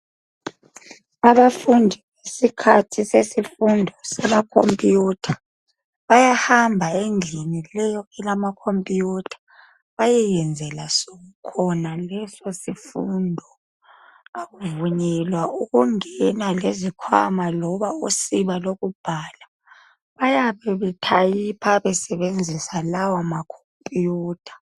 Abafundi ngesikhathi sesifundo sama computer. Bayahamba endlini leyo elama computer, bayeyenzela khona leso sifundo. Akuvunyela ukungena lezikhwama loba usiba lokubhala. Bayabe betyper besebenzisa lawo macomputer.